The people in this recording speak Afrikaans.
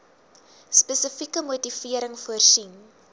spesifieke motivering voorsien